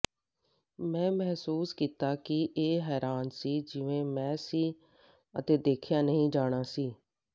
ਮੈਂ ਮਹਿਸੂਸ ਕੀਤਾ ਕਿ ਇਹ ਹੈਰਾਨ ਸੀ ਜਿਵੇਂ ਮੈਂ ਸੀ ਅਤੇ ਦੇਖਿਆ ਨਹੀਂ ਜਾਣਾ ਸੀ